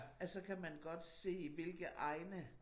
At så kan man godt se hvilke egne